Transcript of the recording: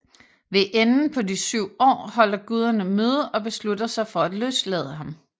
Ved enden på de syv år holder guderne møde og beslutter sig for at løslade ham